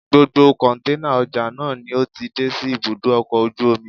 Gbogbo kọ̀ǹténà ọjà náà ni ó ti dé sí ibùdó ọkọ̀ ojú omi